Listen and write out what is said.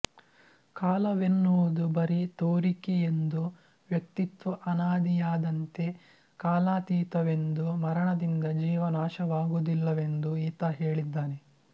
ಕಾಲವೆನ್ನುವುದು ಬರಿ ತೋರಿಕೆಯೆಂದೂ ವ್ಯಕ್ತಿತ್ವ ಅನಾದಿಯಾದಂತೆ ಕಾಲಾತೀತವೆಂದೂ ಮರಣದಿಂದ ಜೀವ ನಾಶವಾಗುವುದಿಲ್ಲವೆಂದೂ ಈತ ಹೇಳಿದ್ದಾನೆ